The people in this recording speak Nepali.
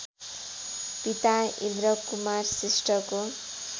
पिता र्इन्द्रकुमार श्रेष्ठको